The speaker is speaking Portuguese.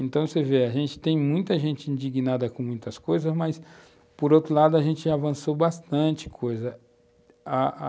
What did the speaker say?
Então, você vê, a gente tem muita gente indignada com muitas coisas, mas, por outro lado, a gente avançou bastante coisa, a a